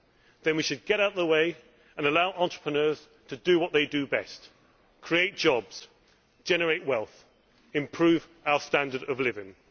Then we should get out of the way and allow entrepreneurs to do what they do best create jobs, generate wealth and improve our standard of living.